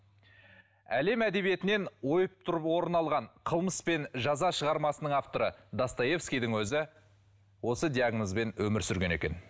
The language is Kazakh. әлем әдебиетінен ойып тұрып орын алған қылмыс пен жаза шығармасының авторы достоевскийдің өзі осы диагнозбен өмір сүрген екен